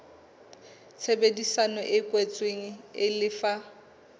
tshebedisano e kwetsweng e lefa